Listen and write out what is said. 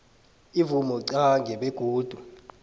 imvumo qange begodu